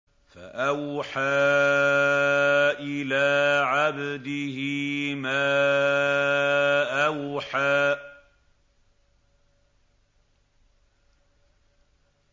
فَأَوْحَىٰ إِلَىٰ عَبْدِهِ مَا أَوْحَىٰ